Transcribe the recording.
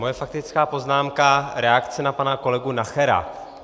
Moje faktická poznámka, reakce na pana kolegu Nachera.